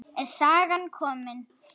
Er sagan komin?